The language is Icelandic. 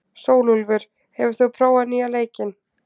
Sólúlfur, hefur þú prófað nýja leikinn?